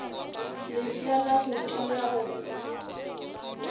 lefša la go tia go